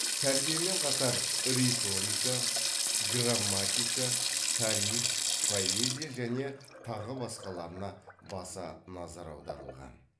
тәрбиемен қатар риторика грамматика тарих поэзия және тағы басқаларына баса назар аударылған